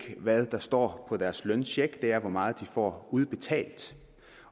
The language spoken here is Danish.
hvad der står på deres løncheck det er hvor meget de får udbetalt